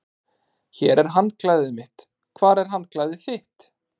Hér er handklæðið mitt. Hvar er handklæðið þitt?